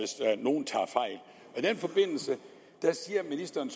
den forbindelse sagde ministeren